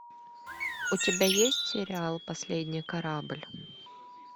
у тебя есть сериал последний корабль